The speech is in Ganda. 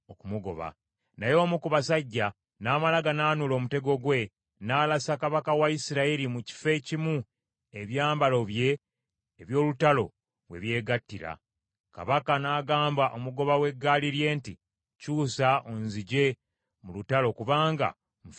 Naye omu ku basajja n’amala ganaanuula omutego gwe, n’alasa kabaka wa Isirayiri mu kifo ekimu ebyambalo bye eby’olutalo we byegattira. Kabaka n’agamba omugoba w’eggaali lye nti, “Kyusa onzigye mu lutalo kubanga nfumitiddwa.”